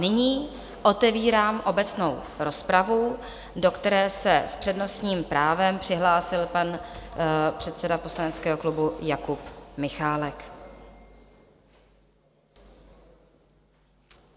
Nyní otevírám obecnou rozpravu, do které se s přednostním právem přihlásil pan předseda poslaneckého klubu Jakub Michálek.